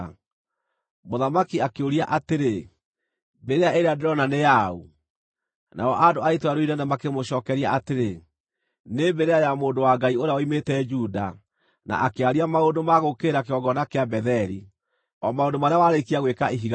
Mũthamaki akĩũria atĩrĩ, “Mbĩrĩra ĩĩrĩa ndĩrona nĩ ya ũ?” Nao andũ a itũũra rĩu inene makĩmũcookeria atĩrĩ, “Nĩ mbĩrĩra ya mũndũ wa Ngai ũrĩa woimĩte Juda, na akĩaria maũndũ ma gũũkĩrĩra kĩgongona kĩa Betheli, o maũndũ marĩa warĩkia gwĩka ihiga rĩu.”